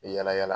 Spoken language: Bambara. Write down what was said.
Yala yala